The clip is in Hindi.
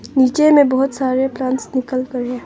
नीचे में बहुत सारे प्लांट्स निकल पड़े हैं।